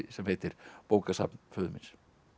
sem heitir bókasafn föður míns